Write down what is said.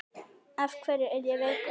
Af hverju er ég veikur?